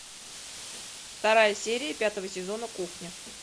вторая серия пятого сезона кухня